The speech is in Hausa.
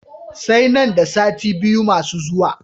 Sai nan da sati biyu masu zuwa.